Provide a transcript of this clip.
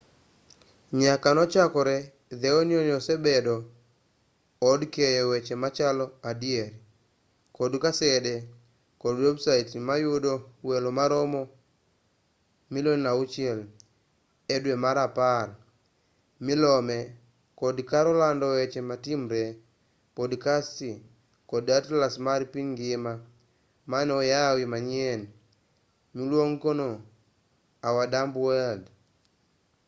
nyaka nochakre the onion osebedo od keyo weche machalo adier kod kasede kod websait manoyudo welo maromo 5,000,000 edwe mar apar milome kod kar lando weche matimre podcasts kod atlas mar piny ngima mane oyaw manyien miluongonii our dumb world